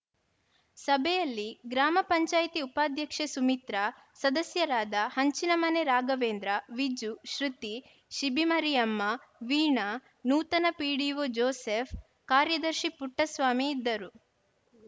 ಸಭೆಯಲ್ಲಿ ಗ್ರಾಮ ಪಂಚಾಯಿತಿ ಉಪಾಧ್ಯಕ್ಷೆ ಸುಮಿತ್ರ ಸದಸ್ಯರಾದ ಹಂಚಿನಮನೆ ರಾಘವೇಂದ್ರ ವಿಜು ಶೃತಿ ಶಿಬಿಮರಿಯಮ್ಮ ವೀಣಾ ನೂತನ ಪಿಡಿಒ ಜೋಸೆಫ್‌ ಕಾರ್ಯದರ್ಶಿ ಪುಟ್ಟಸ್ವಾಮಿ ಇದ್ದರು